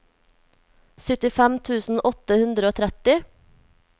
syttifem tusen åtte hundre og tretti